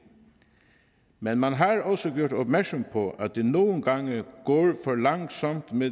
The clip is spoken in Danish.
men man har også gjort opmærksom på at det nogle gange går for langsomt med